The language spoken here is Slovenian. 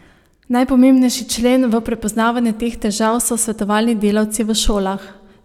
Najpomembnejši člen v prepoznavanju teh težav so svetovalni delavci v šolah.